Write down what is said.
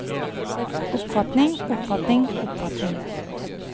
oppfatning oppfatning oppfatning